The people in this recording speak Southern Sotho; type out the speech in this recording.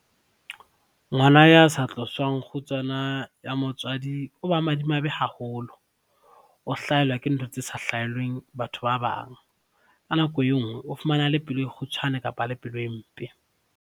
Ngwana ya sa tloswang kgutsana ya motswadi o ba madimabe haholo, o hlahelwa ke ntho tse sa hlaheleng batho ba bang. Ka nako e nngwe o fumana a le pelo e kgutshwane kapa a le pelo e mpe.